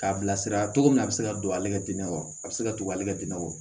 K'a bilasira cogo min na a bɛ se ka don ale ka dingɛ wɔɔrɔ a bɛ se ka to ale ka dingɛ kɔ